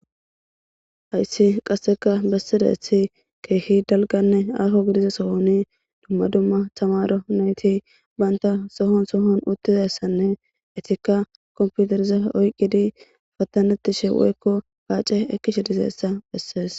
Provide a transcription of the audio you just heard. Hayssi qassikke bessizayssi keehi dalgganne aaho gidiza sohoni dumma dumma thamaare na7ithi banththa sohon uththizayssanne ethikka komppithereza oyqqidi paththaneththishe woykko paace ekkishe dizayssa bessees.